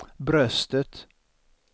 bröstet